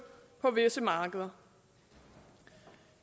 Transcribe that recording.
på visse markeder